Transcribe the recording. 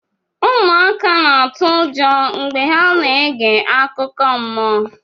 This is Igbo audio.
ụmụaka na-atụ ụjọ mgbe ha na-ege akụkọ mmụọ